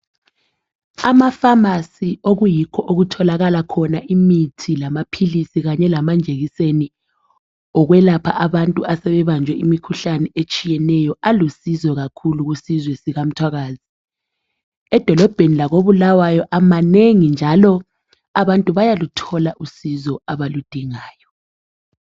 Amafamasi okuyikho okutholakala khona imithi lamaphilisi kanye lamanjekiseni okwelapha abantu asebebanjwe imikhuhlane etshiyeneyo alusizo kakhulu kusizwe sikamthwakazi. Edolobheni lakoBulawayo manengi njalo abantu bayaluthola usizo abaludingayo